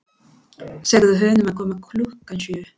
Segðu honum að koma klukkan sjö.